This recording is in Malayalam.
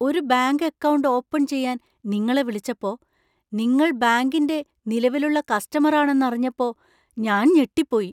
ഒരു ബാങ്ക് അക്കൗണ്ട് ഓപ്പൺ ചെയ്യാൻ നിങ്ങളെ വിളിച്ചപ്പോ നിങ്ങൾ ബാങ്കിന്‍റെ നിലവിലുള്ള കസ്റ്റമർ ആണെന്ന് അറിഞ്ഞപ്പോ ഞാൻ ഞെട്ടിപ്പോയി.